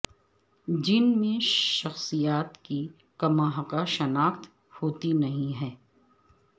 جن میں شخصیات کی کماحقہ شناخت ہوتی نہیں ہے